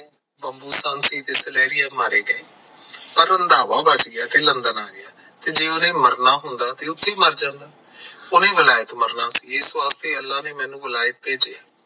ਪਰ ਉਹ ਰੰਧਾਵਾ ਬਚ ਗਿਆ ਤੇ ਲੰਦਨ ਆ ਗਏ ਜੇ ਉਹਨੇ ਮਰਨਾ ਹੁੰਦਾ ਤਾਂ ਉੱਥੇ ਮਰ ਜਾਂਦਾ ਉਹਨੇ ਵਲੈਤ ਮਰਨਾ ਸੀ ਇਸ ਵਾਸਤੇ ਅੱਲਾ ਨੇ ਮੈਨੂੰ ਵਲੈਤ ਭੇਜਿਆ